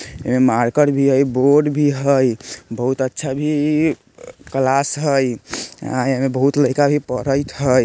ऐ marker भी हय board भी हय बहुत अच्छा भी इ इ क्लास हय आय येमें बहुत लईका भी पढ़ेत हय।